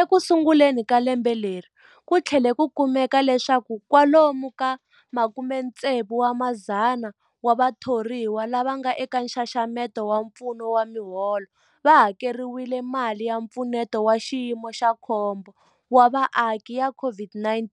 Ekusunguleni ka lembe leri, ku tlhele ku kumeka leswaku kwalomu ka 16,000 wa vathoriwa lava nga eka nxaxamelo wa mfumo wa miholo va hakeriwile mali ya Mpfuneto wa Xiyimo xa Khombo wa Vaaki ya COVID-19